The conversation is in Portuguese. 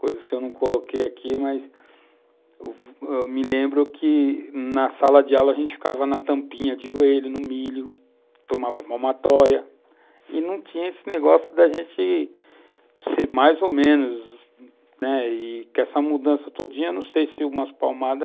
coisas que eu não coloquei aqui, mas me lembro que, na sala de aula, a gente ficava na tampinha de joelho, no milho, tomava palmatória, e não tinha esse negócio da gente ser mais ou menos, né, e que essa mudança todinha, não sei se umas palmadas